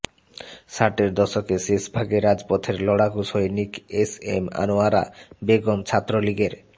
ষাটের দশকে শেষ ভাগে রাজপথের লড়াকু সৈনিক এসএম আনোয়ারা বেগম ছাত্রলীগের